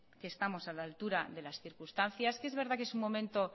que estamos a la altura de las circunstancias que es verdad que es un momento